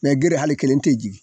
gere hali kelen te jigi